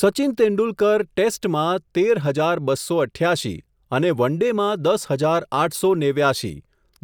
સચિન તેંડુલકર ટેસ્ટમાં, તેર હઝાર બસ્સો અઠ્યાશી, અને વન ડે માં દસ હઝાર આઠસો નેવ્યાશી,